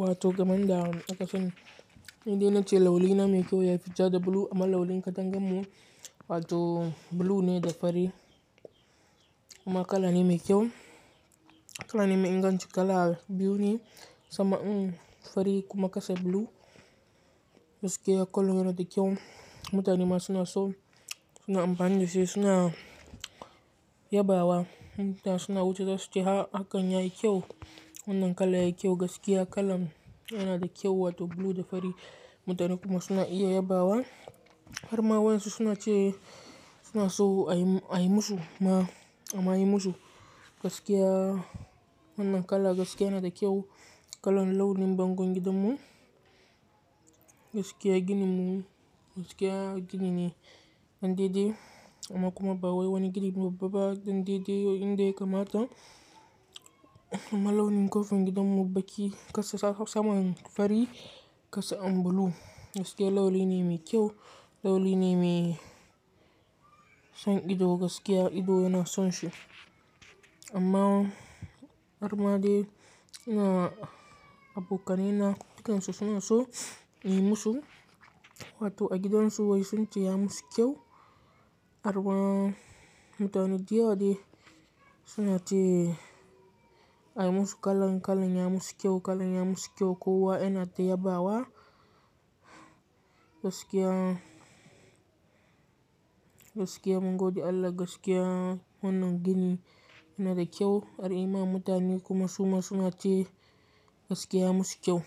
Wato gamanda aka son inda na ce launi na mai kyau yafi ja da blue amma launi katangamun wato blue ne da fari. Amma kala ne mai kyau. Kala ne mai inganci kala biyu ne sama in fari kuma kasa blue gaskiya kala yana da kyau. Mutane suna so suna amfani dashi suna yabawa tana so wuce dasu ta akanya kyau wannan kala ya kyau gaskiya kala yana da kyau wato blue da fari mutane kuma suna iya yabawa. Har ma wa yansu suna ce suna so ai ayi musu ama yi musu gaskiya wannan kala gaskiya yana da kyau kalan launin bangon gidanmu gaskiya gininmu gaskiya gini ne dande de amma kuma ba wani ginin babba ba dande de inda ya kamata. Amma launin kofar gidanmu baki kasa sama fari kasa blue gaskiya launi ne mai kyau launi ne mai son ido gaskiya ido yana son shi. Amma har ma dai ina abokanai na dukansu suna so a yi musu wato a gidan su wai sun ce ya musu kyau har ma mutane dayawa dai suna ce a yi musu kalan kalan ya musu kyau kalan ya musu kyau kowa yana ta yabawa gaskiya gaskiya mun gode Allah gaskiya wannan gini yana da kyau har ma mutane kuma suma suna ce gaskiya ya musu kyau